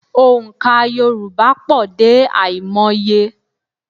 Ònkà Yorùbá pọ̀ dé àìmọye